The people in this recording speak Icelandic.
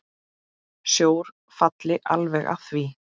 Sjór falli alveg að því.